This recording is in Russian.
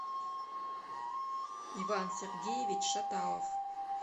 иван сергеевич шаталов